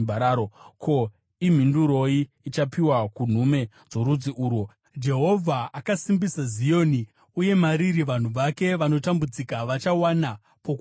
Ko, imhinduroi ichapiwa kunhume dzorudzi urwo? “Jehovha akasimbisa Zioni, uye mariri vanhu vake vanotambudzika vachawana pokuvanda.”